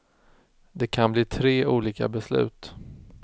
Det kan bli tre olika beslut.